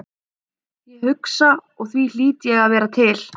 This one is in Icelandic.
Ég hugsa og því hlýt ég að vera til.